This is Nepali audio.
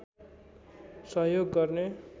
सहयोग गर्ने